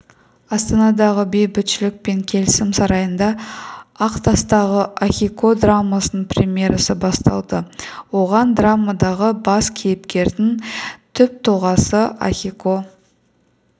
астанадағы бейбітшілік пен келісім сарайында ақтастағы ахико драмасының премьерасы басталды оған драмадағы бас кейіпкердің түптұлғасы ахико